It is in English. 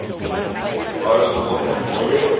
forest lawn memorial